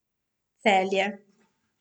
Celje.